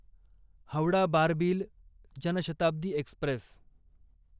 Howrah Barbil Janshatabdi Express